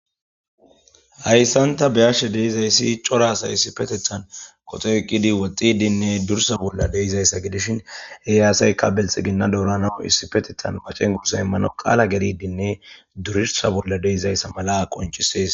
Hayssanta beyashe deizayssi cora asay isipetethan qoto eqqidi woxxidinne dursa bolla deizayssa gidishin eyaasayka belxe ginna doorana issipetethan macengursa immano qaala geridinne durirsa bolla deizayssa mala qoncisees